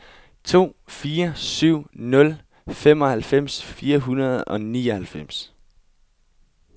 to fire syv nul femoghalvfems fire hundrede og nioghalvfems